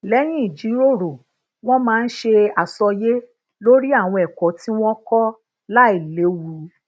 léyìn ijiroro wón maa n se àsọyé lori àwọn èkó tí wón kó lailéwu